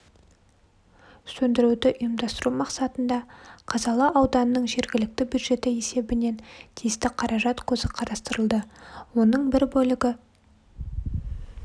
сөндіруді ұйымдастыру мақсатында қазалы ауданының жергілікті бюджеті есебінен тиісті қаражат көзі қарастырылды оның бір бөлігі